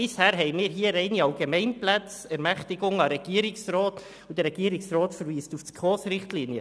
Bisher erteilten wir hier nur allgemeine Ermächtigungen an den Regierungsrat, und der Regierungsrat verweist auf die SKOSRichtlinien.